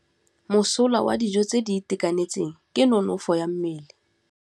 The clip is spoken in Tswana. Mosola wa dijô tse di itekanetseng ke nonôfô ya mmele.